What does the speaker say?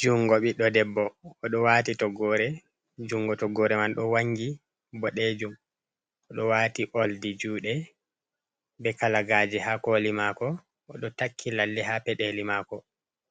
jungo biɗɗo debbo o ɗo wati toggore, jungo toggore man ɗo wangi boɗejum, o ɗo wati oldi juɗe be kalagaje ha koli mako, o ɗo takki lalle ha peɗeli mako,